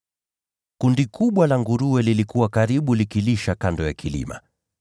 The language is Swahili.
Palikuwa na kundi kubwa la nguruwe lililokuwa likilisha karibu kando ya kilima.